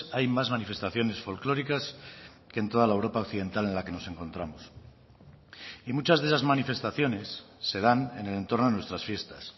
hay más manifestaciones folclóricas que en toda la europa occidental en la que nos encontramos y muchas de esas manifestaciones se dan en el entorno de nuestras fiestas